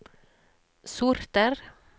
sorter